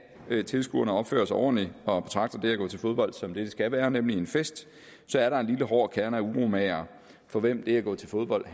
af tilskuerne opfører sig ordentligt og betragter det at gå til fodbold som det det skal være nemlig en fest er der en lille hård kerne af uromagere for hvem det at gå til fodbold